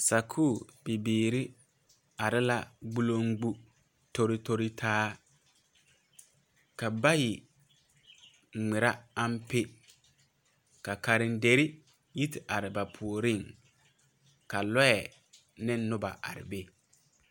Sakuurebibiiri are la gboloŋgbo tori tori taa ka bayi ŋmeɛrɛ ampe ka karenderi yi te are ba puoriŋ ka lɔɛ ne noba are be.